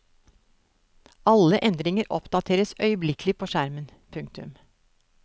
Alle endringer oppdateres øyeblikkelig på skjermen. punktum